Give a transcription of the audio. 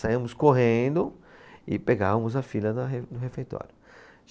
Saíamos correndo e pegávamos a fila da re, do refeitório.